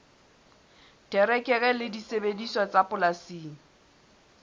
terekere le disebediswa tsa polasing